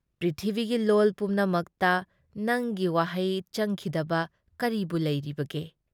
ꯄ꯭ꯔꯤꯊꯤꯕꯤꯒꯤ ꯂꯣꯜ ꯄꯨꯝꯅꯃꯛꯇ ꯅꯪꯒꯤ ꯋꯥꯍꯩ ꯆꯪꯈꯤꯗꯕ ꯀꯔꯤꯕꯨ ꯂꯩꯔꯤꯕꯒꯦ ꯫